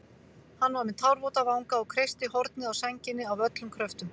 Hann var með tárvota vanga og kreisti hornið á sænginni af öllum kröftum.